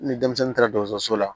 Ni denmisɛnnin taara dɔgɔtɔrɔso la